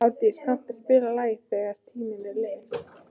Árdís, kanntu að spila lagið „Þegar tíminn er liðinn“?